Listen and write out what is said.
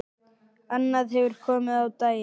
Annað hefur komið á daginn.